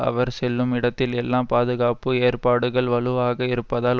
அவர் செல்லும் இடத்தில் எல்லாம் பாதுகாப்பு ஏற்பாடுகள் வலுவாக இருப்பதால்